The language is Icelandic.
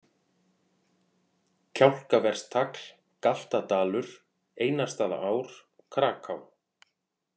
Kjálkaverstagl, Galtadalur, Einarsstaðaár, Kraká